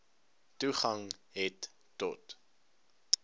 toegang het tot